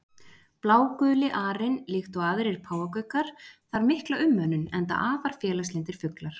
Bláguli arinn líkt og aðrir páfagaukar þarf mikla umönnun, enda afar félagslyndir fuglar.